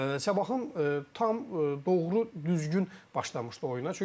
Sabahın tam doğru düzgün başlamışdı oyuna.